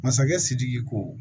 Masakɛ sidiki ko